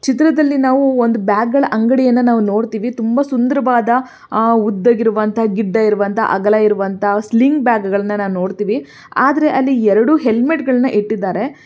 ಈ ಚಿತ್ರದಲ್ಲಿ ನಾವು ಒಂದು ಬ್ಯಾಗ್ಗಳ ಅಂಗಡಿಯನ್ನು ನಾವು ನೋಡತಿವಿ ತುಂಬಾ ಸುಂದರವಾದ ಉದ್ದವಿರುವಂತಹ ಗಿಡ್ಡ ಇರುವಂತ ಅಗಲವಿರುವಂತ ಸ್ವಿಂಗ್ ಬ್ಯಾಗ್ ಗಳನ್ನು ನಾವು ನೋಡ್ತೀವಿ ಆದ್ರೆ ಅಲ್ಲಿ ಎರಡು ಹೆಲ್ಮೆಟ್ ಗಳನ್ನು ಇಟ್ಟಿದ್ದಾರೆ.